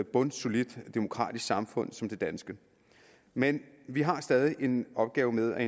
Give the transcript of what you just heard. bundsolidt demokratisk samfund som det danske men vi har stadig en opgave med at